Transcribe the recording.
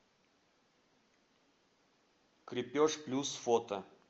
крепеж плюс фото